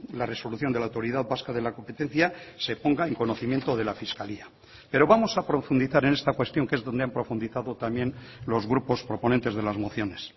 la resolución de la autoridad vasca de la competencia se ponga en conocimiento de la fiscalía pero vamos a profundizar en esta cuestión que es donde han profundizado también los grupos proponentes de las mociones